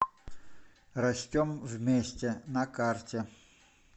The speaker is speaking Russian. растем вместе на карте